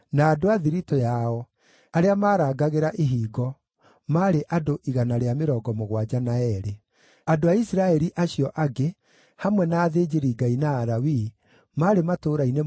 Andũ a Isiraeli acio angĩ, hamwe na athĩnjĩri-Ngai na Alawii, maarĩ matũũra-inĩ mothe ma Juda, o mũndũ gĩthaka-inĩ kĩa maithe mao.